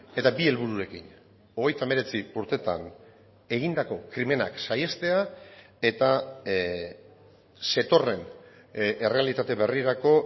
eta bi helbururekin hogeita hemeretzi urtetan egindako krimenak saihestea eta zetorren errealitate berrirako